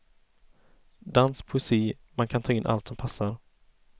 Dans, poesi, man kan ta in allt som passar.